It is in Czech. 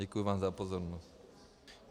Děkuji vám za pozornost.